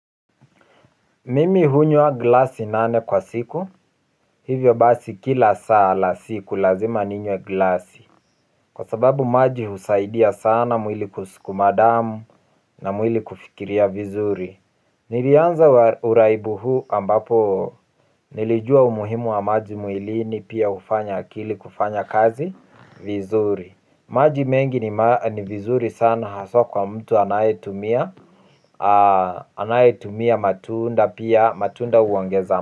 Mimi hunywa glasi nane kwa siku, hivyo basi kila saa la siku lazima ninywe glasi. Kwa sababu maji husaidia sana mwili kuskuma damu na mwili kufikiria vizuri. Nilianza uraibu huu ambapo nilijua umuhimu wa maji mwilini pia hufanya akili kufanya kazi vizuri. Maji mengi ni vizuri sana haswa kwa mtu anayetumia anayetumia matunda pia matunda huongeza.